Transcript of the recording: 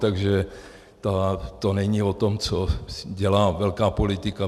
Takže to není o tom, co dělá velká politika.